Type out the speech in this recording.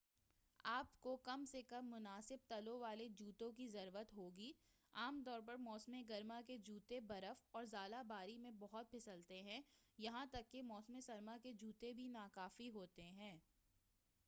آپکو کم سے کم مناسب تلوں والے جوتوں کی ضرورت ہوگی عام طور پر موسم گرما کے جوتے برف اور ژالہ باری میں بہت پھسلتے ہیں یہاں تک کہ موسم سرما کے جوتے بھی ناکافی ہوتے ہیں